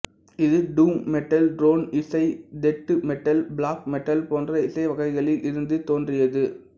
இது doom metal drone இசை death metal black metal போன்ற இசைவகைகளில் இருந்து தோன்றியது